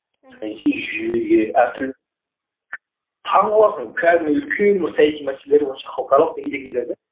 саяси жүйеге әртүрлі таң қаласың кәдімгідей үлкен бір саяси мәселелер бойынша халықаралық деңгейдегі нелер де